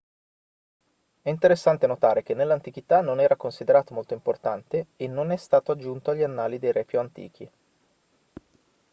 è interessante notare che nell'antichità non era considerato molto importante e non è stato aggiunto agli annali dei re più antichi